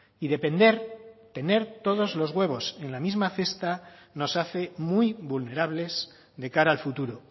y depender tener todos los huevos en la misma cesta nos hace muy vulnerables de cara al futuro